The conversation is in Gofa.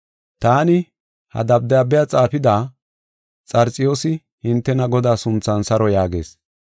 Taani, ha dabdaabiya xaafida, Xarxiyoosi, hintena Godaa sunthan saro yaagayis.